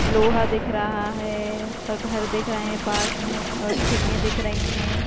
लोहा दिख रहा है और घर दिख रहे हैं पास में और चिड़िया दिख रही हैं।